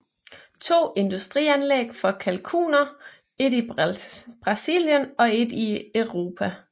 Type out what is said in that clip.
To industrianlæg for kalkuner et i Brasilien og et i Europa